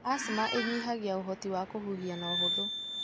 Asthma ĩnyihagia ũhoti wa kũhuhia na ũhuthũ.